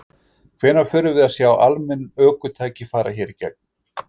Hvenær förum við að sjá almenn ökutæki fara hér í gegn?